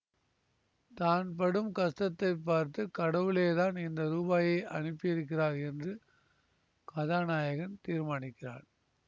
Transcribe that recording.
தான் படும் கஷ்டத்தைப் பார்த்து கடவுளேதான் இந்த ரூபாயை அனுப்பி இருக்கிறார் என்று கதாநாயகன் தீர்மானிக்கிறான்